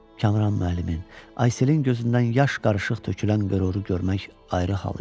Kamran müəllimin, Ayselin gözündən yaş qarışıq tökülən qüruru görmək ayrı hal idi.